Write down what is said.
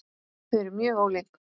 Þau eru mjög ólík.